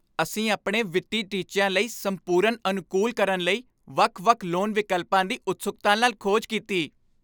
ਅਸੀਂ ਆਪਣੇ ਵਿੱਤੀ ਟੀਚਿਆਂ ਲਈ ਸੰਪੂਰਨ ਅਨੁਕੂਲ ਕਰਨ ਲਈ ਵੱਖ ਵੱਖ ਲੋਨ ਵਿਕਲਪਾਂ ਦੀ ਉਤਸੁਕਤਾ ਨਾਲ ਖੋਜ ਕੀਤੀ